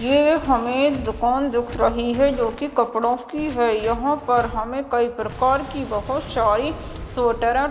ये हमें दुकान दिख रही है जो कि कपड़ों की है यहां पर हमें कई प्रकार की बहुत सारी स्वेटर --